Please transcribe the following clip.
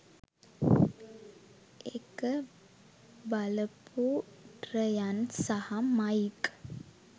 ඒක බලපු රයන් සහ මයික්.